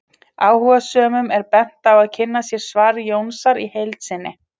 Áhugasömum er bent á að kynna sér svar Jónasar í heild sinni.